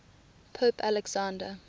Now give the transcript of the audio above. pope alexander